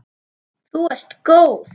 Þú ert góð!